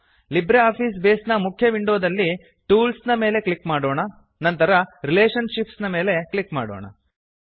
Libre office Base ನ ಮುಖ್ಯ windows ನಲ್ಲಿ ಟೂಲ್ಸ್ ನ ಮೇಲೆ ಕ್ಲಿಕ್ ಮಾಡೋಣ ನಂತರ ರಿಲೇಷನ್ಶಿಪ್ಸ್ ನ ಮೇಲೆ ಕ್ಲಿಕ್ ಮಾಡೋಣ